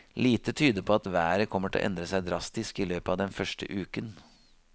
Lite tyder på at været kommer til å endre seg drastisk i løpet av den første uken.